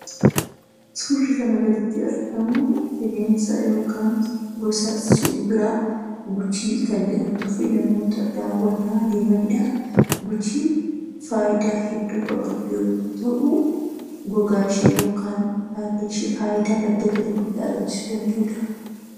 Suurri kana gaditti argamu bineensa yookaan gosa Simbiraa 'Guchii' kan jedhamtu fi namoota daawwannaa deemanidha. Guchiin faayidaa hedduu kan qabdu yommuu ta'u, gogaan ishee yookaan baalleen ishee faayidaa madda galii guddaa argamsiisuu danda’udha.